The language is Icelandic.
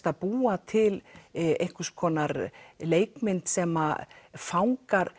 að búa til einhvers konar leikmynd sem fangar